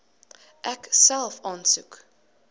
ek self aansoek